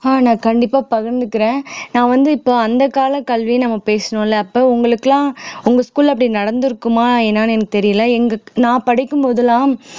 ஆஹ் நான் கண்டிப்பா பகிர்ந்துக்கிறேன் நான் வந்து இப்ப அந்த காலக்கல்வி நம்ம பேசணும்ல அப்ப உங்களுக்கெல்லாம் உங்க school ல அப்படி நடந்திருக்குமா என்னன்னு எனக்குத் தெரியலே எங்க நான் படிக்கும் போதெல்லாம்